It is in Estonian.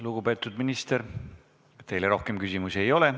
Lugupeetud minister, teile rohkem küsimusi ei ole.